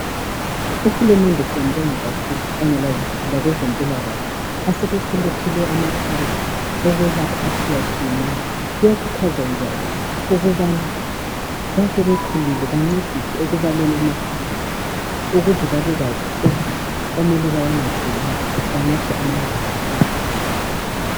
UHulumende siyambonga kakhulu kanye labezempilakahle asebesilethele amaphilisi okwelapha atshiyatshiyeneyo kuyakhuthazwa njalo ukubana asebekhulile bancediswe ekubaleni amaphilisi ukuze babalwazi ukuthi okumele bawanathe yiwaphi, banatha amangaki.